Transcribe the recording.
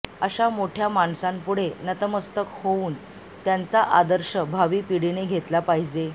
अशा मोठया माणसांपुढे नतमस्तक होवून त्यांचा आदर्श भावी पिढीने घेतला पाहिजे